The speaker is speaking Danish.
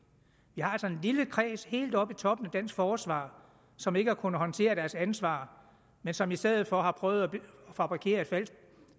vi har altså en lille kreds helt oppe i toppen af dansk forsvar som ikke har kunnet håndtere deres ansvar men som i stedet for har prøvet at fabrikere et falsk